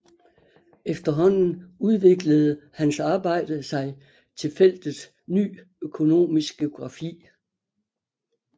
Efterhånden udviklede hans arbejde sig til feltet Ny Økonomisk Geografi